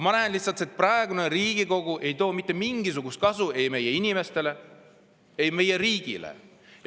Ma näen lihtsalt, et praegune Riigikogu ei too mitte mingisugust kasu ei meie inimestele ega meie riigile.